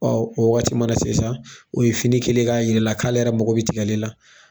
o waati mana se sa o ye fini kɛlen k'a yira i la k'ale yɛrɛ mako bɛ tigɛli la.